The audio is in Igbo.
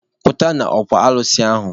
Pụta n'okwu alụsị ahụ!